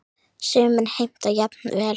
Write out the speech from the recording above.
Sumir heimta jafnvel